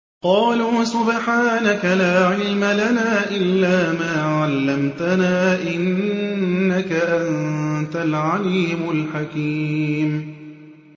قَالُوا سُبْحَانَكَ لَا عِلْمَ لَنَا إِلَّا مَا عَلَّمْتَنَا ۖ إِنَّكَ أَنتَ الْعَلِيمُ الْحَكِيمُ